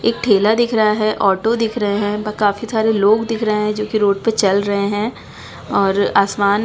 एक ठेला दिख रहा है ऑटो दिख रहे है ब काफी सारे लोग दिख रहे है जो कि रोड पे चल रहे है और आसमान --